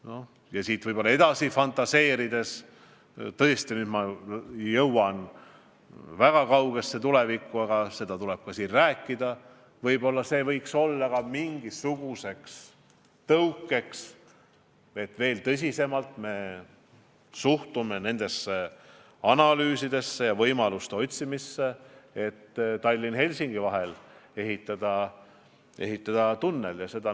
Ja kui siit võib-olla edasi fantaseerida – ma tõesti jõuan nüüd väga kaugesse tulevikku, aga ka sellest tuleb rääkida –, siis võib-olla see oleks ka tõukeks, et me veel tõsisemalt suhtume nendesse analüüsidesse ja võimaluste otsimisse, et Tallinna ja Helsingi vahele tunnel ehitada.